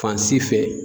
Fan si fɛ